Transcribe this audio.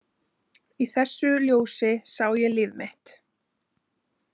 Í þessu ljósi sá ég líf mitt.